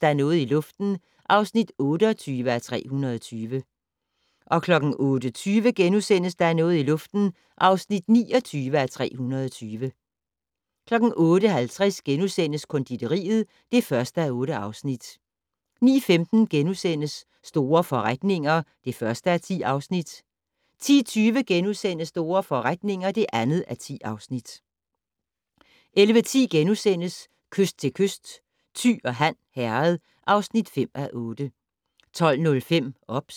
Der er noget i luften (29:320)* 08:50: Konditoriet (1:8)* 09:15: Store forretninger (1:10)* 10:20: Store forretninger (2:10)* 11:10: Kyst til kyst - Thy og Han Herred (5:8)* 12:05: OBS